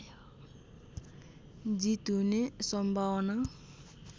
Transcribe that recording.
जित हुने सम्भावना